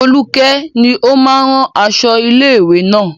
Foluke ni ó máa ń rán aṣọ ilé-ìwé náà.